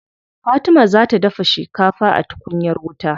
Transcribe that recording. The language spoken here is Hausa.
Fatima za ta dafa shikafa a tukunyar wuta.